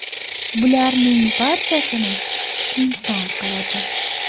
Bularning barchasini inson qiladi.